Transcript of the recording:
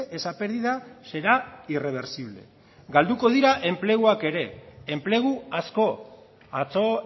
esa pérdida será irreversible galduko dira enpleguak ere enplegu asko atzo